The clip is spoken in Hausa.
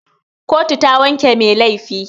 Kotu ta wanke mai laifi.